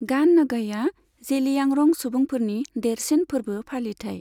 गान नगईआ जेलियांरं सुबुंफोरनि देरसिन फोरबो फालिथाइ।